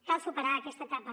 cal superar aquesta etapa